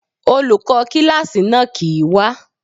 Olùkó kíláàsì náà kìí wá.